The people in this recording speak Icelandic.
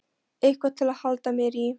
Eitthvað til að halda mér í.